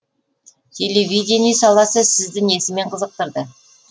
телевидение саласы сізді несімен қызықтырды